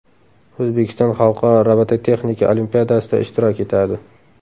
O‘zbekiston Xalqaro robototexnika olimpiadasida ishtirok etadi.